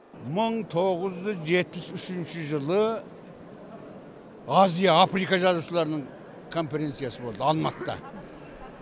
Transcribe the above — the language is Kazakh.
мың тоғыз жүз жетпіс үшінші жылы азия африка жазушыларының конференциясы болды алматыда